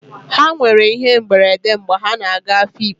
Ha nwere íhé mberede mgbe ha na-aga Afikpo.